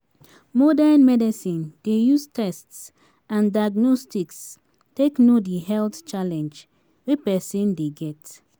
Modern medicine dey use tests and diagnostics take know di health challenge wey person dey get